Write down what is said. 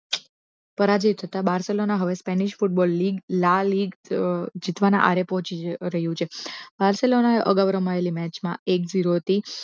પરાજય થતા બારસોલના હવે Spanish football league La Liga જીતવાના આરે પહોંચી રહ્યું છે બારસેલોના અગાઉ રમાયેલી મેચ માં એક ઝીરો થી